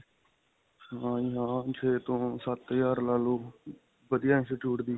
ਹਾਂਜੀ ਹਾਂ ਛੇ ਤੋ ਸੱਤ ਹਜ਼ਾਰ ਲਾ ਲੋ ਵਧੀਆ institute ਦੀ .